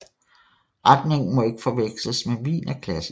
Retningen må ikke forveksles med wienerklassik